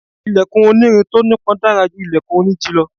Ilẹ̀kùn oní irin tó ní ipọn dára ju ilẹ̀kùn oní igi lọ.